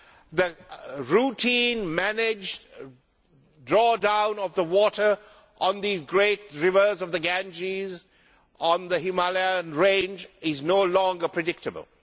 The routine, managed drawdown of water on these great rivers of the Ganges, on the Himalayan range, is no longer predictable.